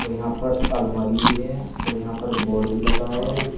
और यहां पर अलमारी भी है और यहां पर बोर्ड भी लगा है।